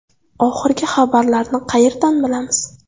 Oxirgi xabarlarni qayerdan bilamiz?